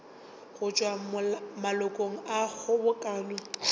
go tšwa malokong a kgobokano